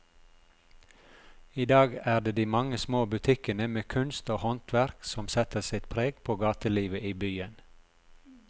I dag er det de mange små butikkene med kunst og håndverk som setter sitt preg på gatelivet i byen.